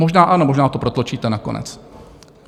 Možná ano, možná to protlačíte nakonec.